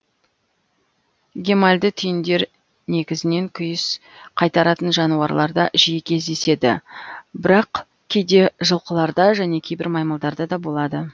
гемальды түйіндер негізінен күйіс қайтаратын жануарларда жиі кездеседі бірақ кейде жылқыларда және кейбір маймылдарда да болады